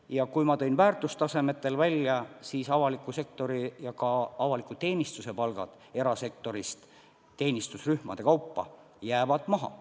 Ja ma tõin väärtustasemetel välja, et avaliku sektori ja ka avaliku teenistuse palgad jäävad erasektori omadest teenistusrühmade kaupa maha.